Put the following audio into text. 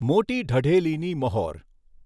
મોટી ઢઢેલીની મહોર